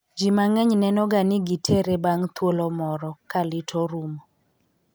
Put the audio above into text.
Ji mang'eny nenoga ni giterre bang' thuolo moro , ka lit orumo.